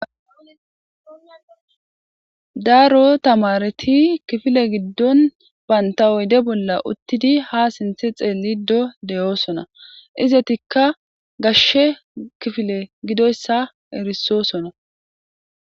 Daro tamareti kifile giddon baynta oyde bolla uttidi ha sinthe xeelido deyoosona izetikka gashshe kifile gidoyssa erisoosona